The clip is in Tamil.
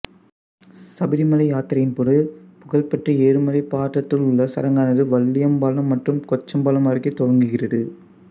சபரிமலை யாத்திரையின் போது புகழ்பெற்ற எருமெலி பாட்டத்துள்ளல் சடங்கானது வல்லியம்பலம் மற்றும் கொச்சம்பலம் அருகே துவங்குகிறது